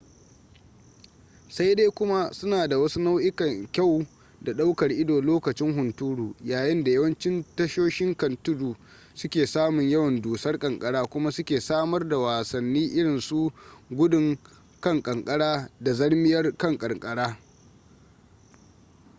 sai dai kuma suna da wasu nau'ikan kyau da ɗaukar ido lokacin hunturu yayin da yawancin tasoshin kan tudu su ke samun yawan dusar ƙanƙara kuma su ke samar da wasanni irin su gudun kan ƙanƙara da zarmiyar kan ƙanƙara